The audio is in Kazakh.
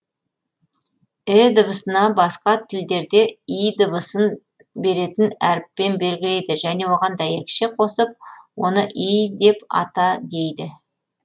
і дыбысына басқа тілдерде й дыбысын беретін әріппен белгілейді және оған дәйекше қосып оны й деп ата дейді